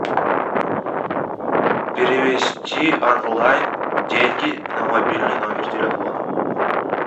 перевести онлайн деньги на мобильный номер телефона